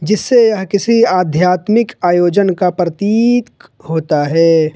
जिससे यह किसी आध्यात्मिक आयोजन का प्रतीक होता है।